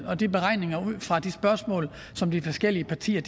og de beregninger ud fra de spørgsmål som de forskellige partier